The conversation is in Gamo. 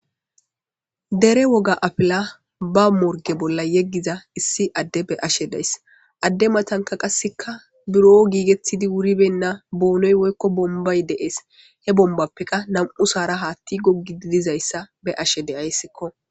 Dere woga apila ba morge bolla yeggiza issi adde be ashe days adde matanka qasseka buro giigettidi wuribenna boonoy woykko bombay deees he bombappeka nam'u saara haatti goggi didizayssa be ashe deayssikko.